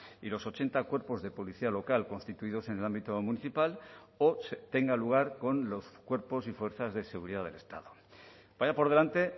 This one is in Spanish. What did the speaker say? y los ochenta cuerpos de policía local constituidos en el ámbito municipal o tenga lugar con los cuerpos y fuerzas de seguridad del estado vaya por delante